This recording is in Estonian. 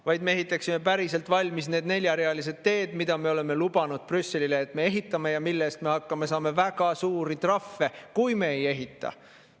–, kui me ehitaksime päriselt valmis neljarealised teed, mida me oleme lubanud Brüsselile, et me ehitame, siis me ei hakkaks saama väga suuri trahve, kui me neid ei ehita.